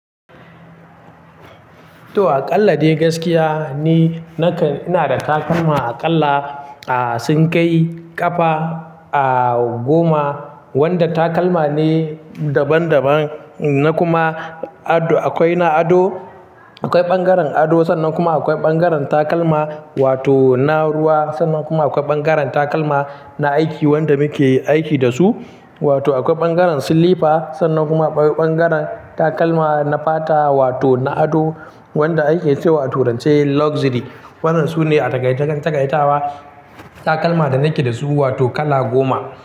To aƙalla dai gaskiya ni, nakan-- ina da takalma aƙalla, ah, sun kai ƙafa, ah, goma wanda takalma ne daban daban na kuma ado. Akwai na ado, akwai ɓangaren ado sannan kuma akwai ɓangaren takalma wato na ruwa, sannan kuma akwai ɓangaren takalma na aiki wanda muke aiki da su, wato akwai ɓangaren silifa sannan kuma akwai ɓangaren takalma na fata wato na ado wanda ake cewa toh rance luxury. Waɗannan su ne a taka-takaitawa takalma da nake da su wato kala goma.